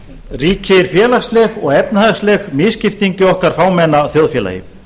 ríkir félagsleg og efnahagsleg misskipting í okkar fámenna þjóðfélagi